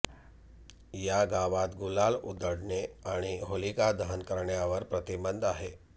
या गावात गुलाल उधळणे आणि होलिकादहन करण्यावर प्रतिबंध आहे